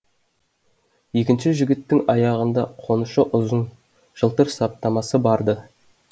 екінші жігіттің аяғында қонышы ұзын жылтыр саптамасы бар ды